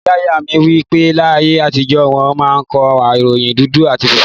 Ìyá ìyá mi wí pé, láyé àtijó wọn máa ń wo ìròyìn dúdú àti fúnfún